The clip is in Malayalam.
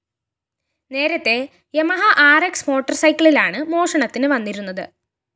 നേരത്തെ യമഹ ആര്‍ എക്‌സ് മോട്ടോർ സൈക്കിളിലാണ് മോഷണത്തിന് വന്നിരുന്നത്